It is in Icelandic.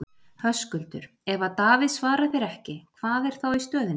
Höskuldur: Ef að Davíð svarar þér ekki, hvað er þá í stöðunni?